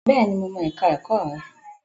Bẹ́ẹ̀ni, mo mọ ẹ̀ka ẹ̀kọ́ rẹ̀.